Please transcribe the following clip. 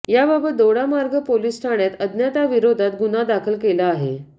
याबाबत दोडामार्ग पोलीस ठाण्यात अज्ञाताविरोधात गुन्हा दाखल केला आहे